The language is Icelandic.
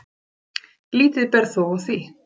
Lítið ber þó á því.